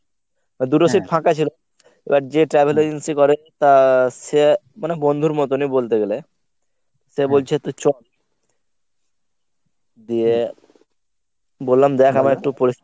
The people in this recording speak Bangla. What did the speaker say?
দুটো seat ফাঁকা ছিল এবার যে travel agency করে মানে বন্ধুর মতনই বলতে গেলে সে বলছে তুই চল। দিয়ে বললাম দেখ আমার একটু